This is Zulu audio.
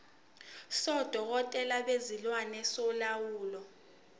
sodokotela bezilwane solawulo